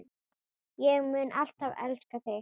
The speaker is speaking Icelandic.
Ég mun alltaf elska þig.